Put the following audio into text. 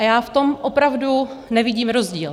A já v tom opravdu nevidím rozdíl.